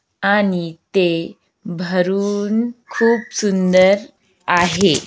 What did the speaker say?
आणि ते भरून खूप सुंदर आहे.